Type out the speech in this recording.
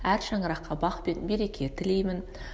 әр шаңыраққа бақ пен береке тілеймін